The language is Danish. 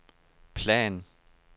plan